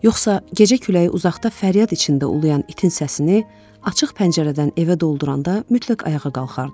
Yoxsa gecə küləyi uzaqda fəryad içində ulayan itin səsini açıq pəncərədən evə dolduranda mütləq ayağa qalxardı.